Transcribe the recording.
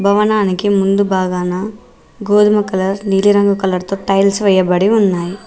భవనానికి ముందు బాగానా గోధుమ కలర్ నీలి రంగు కలర్ తో టైల్స్ వేయబడి ఉన్నాయి.